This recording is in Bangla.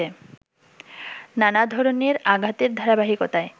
নানা ধরনের আঘাতের ধারাবাহিকতায়